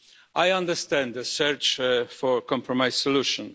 I understand the search for a compromise solution.